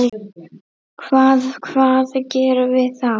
Hvað, hvað gerum við þá?